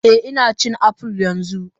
Eh Ina cin apples yanzu